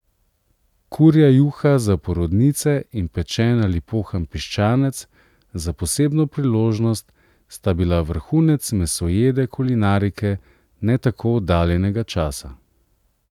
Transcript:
Kurja juha za porodnice in pečen ali pohan piščanec za posebno priložnost sta bila vrhunec mesojede kulinarike ne tako oddaljenega časa.